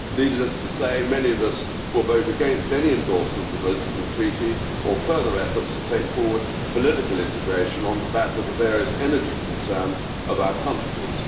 Needless to say, many of us will vote against any endorsement of the Lisbon Treaty or further efforts to take forward political integration on the back of the various energy concerns of our countries.